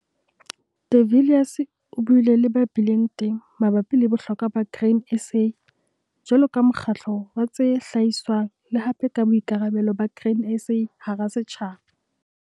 De Villiers o buile le ba bileng teng mabapi le bohlokwa ba Grain SA jwalo ka mokgatlo wa tse hlahiswang le hape ka boikarabelo ba Grain SA hara setjhaba.